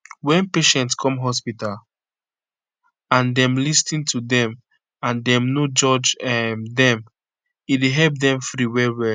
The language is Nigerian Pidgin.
wen patient come hospital and dem lis ten to dem and dem no judge um dem e dey help dem free well well